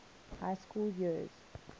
high school years